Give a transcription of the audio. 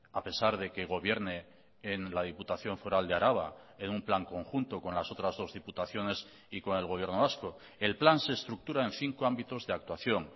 a pesar de que gobierne en la diputación foral de araba en un plan conjunto con las otras dos diputaciones y con el gobierno vasco el plan se estructura en cinco ámbitos de actuación